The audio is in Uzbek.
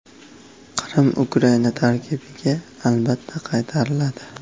Qrim Ukraina tarkibiga albatta qaytariladi.